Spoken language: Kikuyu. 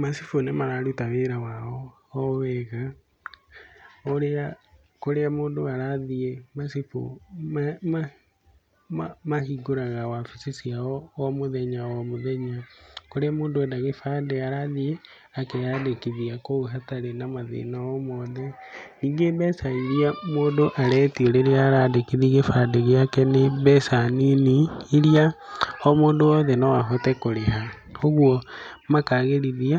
Macibu nĩ mararuta wĩra wao o wega, ũrĩa kũrĩa mũndũ arathiĩ, macibu mahingũraga wabici ciao o mũthenya o mũthenya. Kũrĩa mũndũ enda gĩbandĩ arathiĩ akeyandĩkithia kũu hatarĩ na mathĩna o mothe. Ningĩ mbeca iria mũndũ aretio rĩrĩa arandikithia gĩbandĩ gĩake nĩ mbeca nini, iria o mũndũ wothe no ahote kũrĩha. Ũguo makagĩrithia